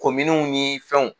Kominiw ni fɛnw